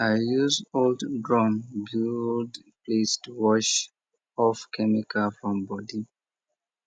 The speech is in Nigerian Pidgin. i use old drum build place to wash off chemical from body